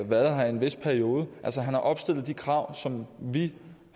været her i en vis periode altså han har opfyldt de krav som vi